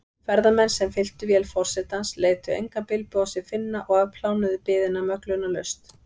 Ferðamenn, sem fylltu vél forsetans, létu engan bilbug á sér finna og afplánuðu biðina möglunarlaust.